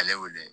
Ale wele